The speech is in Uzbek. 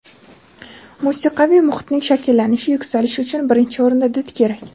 musiqiy muhitning shakllanishi-yuksalishi uchun birinchi o‘rinda did kerak.